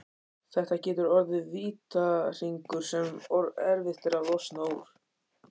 Þetta getur orðið vítahringur sem erfitt er að losna úr.